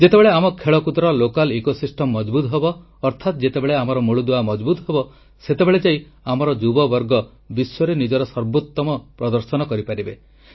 ଯେତେବେଳେ ଆମ ଖେଳକୁଦର ଆଂଚଳିକ ବ୍ୟବସ୍ଥା ମଜବୁତ୍ ହେବ ଅର୍ଥାତ୍ ଯେତେବେଳେ ଆମର ମୂଳଦୁଆ ମଜବୁତ୍ ହେବ ସେତେବେଳେ ଯାଇ ଆମର ଯୁବବର୍ଗ ବିଶ୍ୱରେ ନିଜର ସର୍ବୋତ୍ତମ ପ୍ରଦର୍ଶନ କରିପାରିବେ